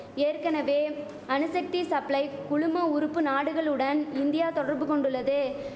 ஏற்கனவே அணுசக்தி சப்ளை குழும உறுப்பு நாடுகளுடன் இந்தியா தொடர்பு கொண்டுள்ளது